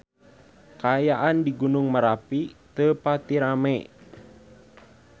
Kaayaan di Gunung Merapi teu pati rame